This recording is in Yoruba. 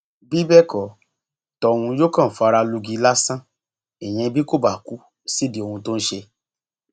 bí bẹẹ kò tóhun yóò kàn fara lùgì lásán ìyẹn bí kò bá kú sídìí ohun tó ń ṣe